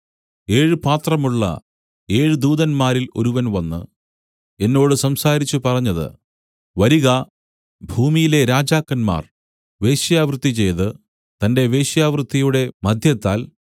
ഏഴ് പാത്രമുള്ള ഏഴ് ദൂതന്മാരിൽ ഒരുവൻ വന്നു എന്നോട് സംസാരിച്ച് പറഞ്ഞത് വരിക ഭൂമിയിലെ രാജാക്കന്മാർ വേശ്യാവൃത്തി ചെയ്ത് തന്റെ വേശ്യാവൃത്തിയുടെ മദ്യത്താൽ